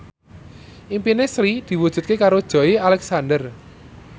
impine Sri diwujudke karo Joey Alexander